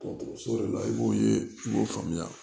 Dɔgɔtɔrɔso de la i b'u ye k'o faamuya